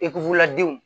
Ekuruladenw